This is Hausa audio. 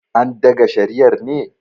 andaga shariar ne?